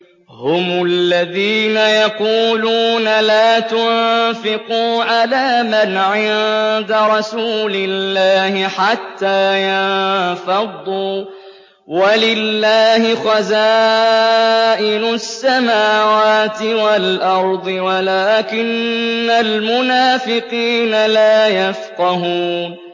هُمُ الَّذِينَ يَقُولُونَ لَا تُنفِقُوا عَلَىٰ مَنْ عِندَ رَسُولِ اللَّهِ حَتَّىٰ يَنفَضُّوا ۗ وَلِلَّهِ خَزَائِنُ السَّمَاوَاتِ وَالْأَرْضِ وَلَٰكِنَّ الْمُنَافِقِينَ لَا يَفْقَهُونَ